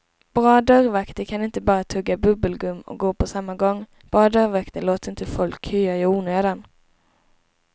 Bra dörrvakter kan inte bara tugga bubbelgum och gå på samma gång, bra dörrvakter låter inte folk köa i onödan.